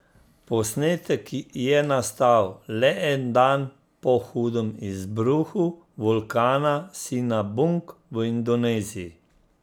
Posnetek je nastal le dan po hudem izbruhu vulkana Sinabung v Indoneziji.